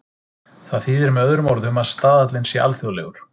Það þýðir með öðrum orðum að staðallinn sé alþjóðlegur.